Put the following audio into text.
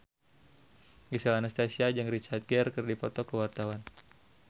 Gisel Anastasia jeung Richard Gere keur dipoto ku wartawan